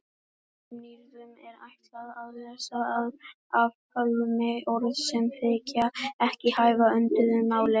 Sumum nýyrðum er ætlað að leysa af hólmi orð sem þykja ekki hæfa vönduðu máli.